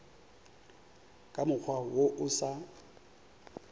ka mokgwa wo o sa